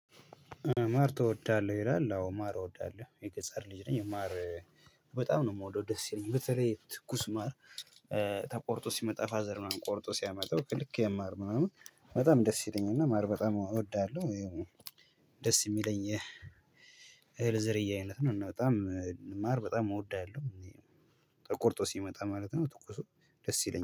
ማር ትወዳለህ ይላል? አዎ ማር እወዳለሁ የገጠር ልጅ ነኝ ማር በጣም ነው የምወደው ደስ ይለኛል። በተለይ ትኩስ ማር። ተቆርጦ ሲመጣ ፋዘር ምናምን ቆርጦ ሲያመጣው ከልክ ማር ምናምን በጣም ደስ ይለኛል። እና ማር በጣም እወዳለሁ። ደስ የሚለኝ የህል ዝርያ አይነት ነው። እና በጣም ማር በጣም እወዳለሁ። ተቆርጦ ሲመጣ ማለት ነው። ትኩሱ ደስ ይለኛል